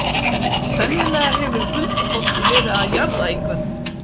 Sennilega hefur huldufólkið verið að jarða einhvern.